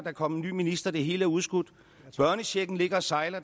er kommet en ny minister det hele er udskudt børnechecken ligger og sejler